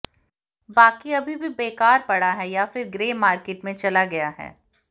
बाकी अभी भी बेकार पड़ा है या फिर ग्रे मार्केट में चला गया है